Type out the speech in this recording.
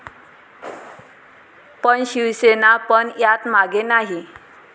पण शिवसेना पण यात मागे नाही.